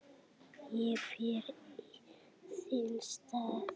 Ég fer í þinn stað